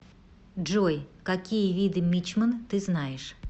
джой какие виды мичман ты знаешь